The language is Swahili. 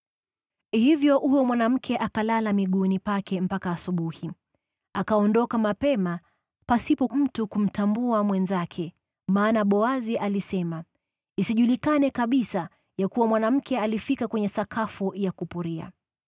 Hivyo huyo mwanamke akalala miguuni pake mpaka asubuhi, akaondoka mapema pasipo mtu kuweza kumtambua mwenzake, maana Boazi alisema, “Isijulikane kabisa ya kuwa mwanamke alifika kwenye sakafu ya kupuria.”